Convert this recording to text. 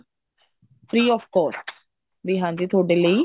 free of cost ਵੀ ਹਾਂਜੀ ਤੁਹਾਡੇ ਲਈ